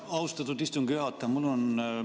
Austatud istungi juhataja!